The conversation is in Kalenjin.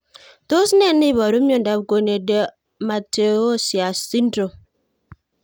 Tos ne neiparu miondop Corneodermatoosseous syndrome?